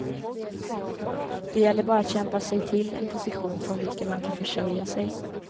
Det gäller bara att kämpa sig till en position från vilken man kan försörja sig.